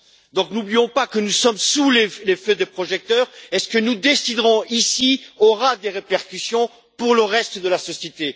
Donc n'oublions pas que nous sommes sous les feux des projecteurs et que ce que nous déciderons ici aura des répercussions sur le reste de la société.